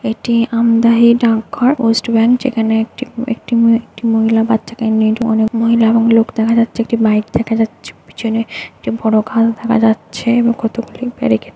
এটি আমদাহী ডাকঘর west branch যেখানে একটি একটি মহি একটি মহিলা বাচ্চাকে নিয়ে অনেক মহিলা এবং লোক দেখা যাচ্ছে একটি বাইক দেখা যাচ্ছে পিছনে এবং বড়ো গাছ দেখা যাচ্ছে-এ এবং কত গুলি ব্যারিকেট --